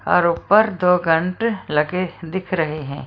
और ऊपर दो घंट लगे दिख रहे हैं।